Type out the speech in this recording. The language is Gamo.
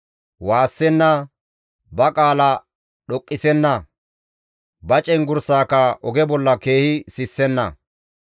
Waassenna; ba qaala dhoqqisenna; ba cenggurssaaka oge bolla keehi sissenna.